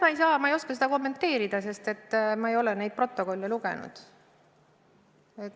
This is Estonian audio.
Ma ei saa, ma ei oska seda kommenteerida, sest ma ei ole neid protokolle lugenud.